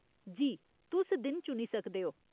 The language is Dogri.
जी, तुस दिन चुनी सकदे ओ।